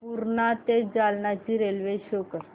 पूर्णा ते जालना ची railway show कर